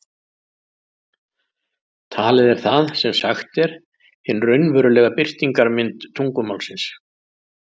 Talið er það sem sagt er, hin raunverulega birtingarmynd tungumálsins.